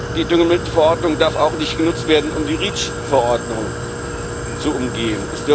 Die Düngemittelverordnung darf auch nicht genutzt werden, um die REACH Verordnung zu umgehen.